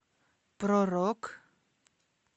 про рок